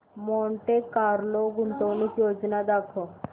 Monte Carlo गुंतवणूक योजना दाखव